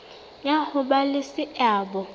sa ho ba le seabo